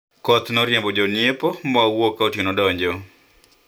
mvua ilitawanya wateja na tukatoka kama usiku umeingia